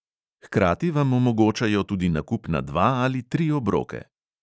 Hkrati vam omogočajo tudi nakup na dva ali tri obroke.